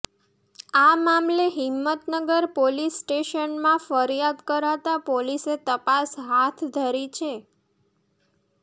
આ મામલે હિંમતનગર પોલીસ સ્ટેશનમાં ફરિયાદ કરાતાં પોલીસે તપાસ હાથ ધરી છે